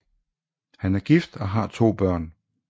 Han er gift og har to børn